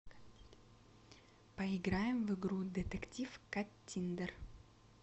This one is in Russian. поиграем в игру детектив каттиндер